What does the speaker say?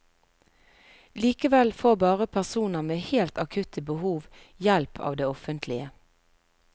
Likevel får bare personer med helt akutte behov hjelp av det offentlige.